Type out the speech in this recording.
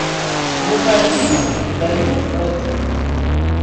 врубай фильм даю год